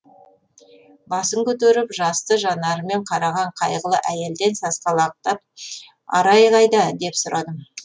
басын көтеріп жасты жанарымен қараған қайғылы әйелден сасқалақтап арай қайда деп сұрадым